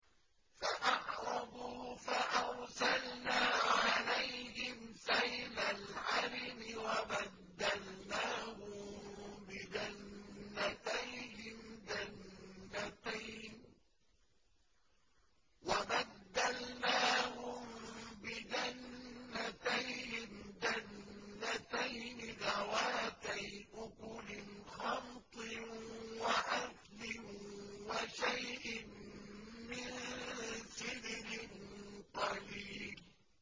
فَأَعْرَضُوا فَأَرْسَلْنَا عَلَيْهِمْ سَيْلَ الْعَرِمِ وَبَدَّلْنَاهُم بِجَنَّتَيْهِمْ جَنَّتَيْنِ ذَوَاتَيْ أُكُلٍ خَمْطٍ وَأَثْلٍ وَشَيْءٍ مِّن سِدْرٍ قَلِيلٍ